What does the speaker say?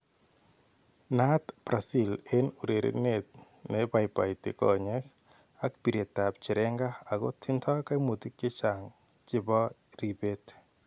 Naat Brazil en urerenet ne baibaiti konyeek ak piireetab cherenga ako tindo kaimutik chechang chebo ribeet